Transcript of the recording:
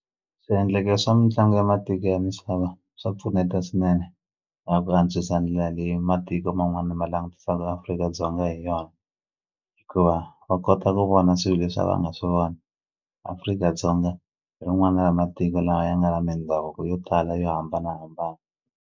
Swiendleke swa mitlangu ya matiko ya misava swa pfuneta swinene na ku antswisa ndlela leyi matiko man'wani ma langutisaka Afrika-Dzonga hi yona hikuva va kota ku vona swilo leswi a va nga swi voni Afrika-Dzonga hi rin'wana ra matiko lawa ya nga na mindhavuko yo tala yo hambanahambana.